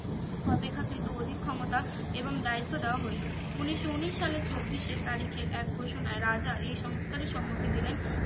অপেক্ষাকৃত অধিক ক্ষমতা এবং দায়িত্ব দেওয়া হইলো উনিশশো উনিশ সালে চব্বিশে তারিখে এক ঘোষণায় রাজা এই সংস্কারি সম্মতি দিলেন